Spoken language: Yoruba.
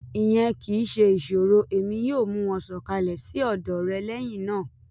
Iyẹn kii ṣe iṣoro Emi yoo mu wọn sọkalẹ si ọdọ rẹ lẹhinna.